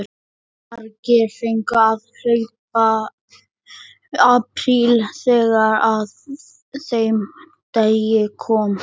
Margir fengu að hlaupa apríl þegar að þeim degi kom.